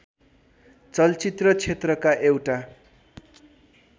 चलचित्र क्षेत्रका एउटा